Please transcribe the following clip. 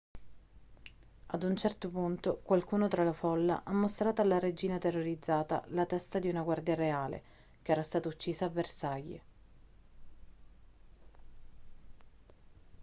ad un certo punto qualcuno tra la folla ha mostrato alla regina terrorizzata la testa di una guardia reale che era stata uccisa a versailles